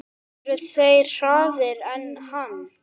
Eru þeir harðari en hann?